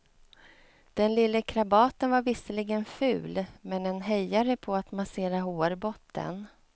Den lille krabaten var visserligen ful men en hejare på att massera hårbotten.